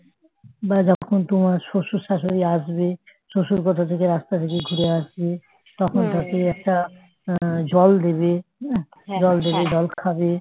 বাড়িতে যখন তোমার শশুর শাশুড়ি আসবে শশুর কোথায় থেকে রাস্তা থেকে ঘুরে আসি তখন তাকে একটা আহ জল দিবি হ্যাঁ জল দিবি জল খাবে